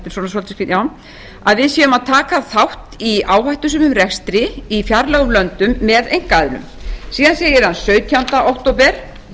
já að við séum að taka þátt í áhættusömum rekstri í fjarlægum löndum með einkaaðilum síðan segir hann sautjánda október